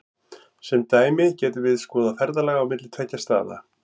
Sem dæmi getum við skoðað ferðalag á milli tveggja staða.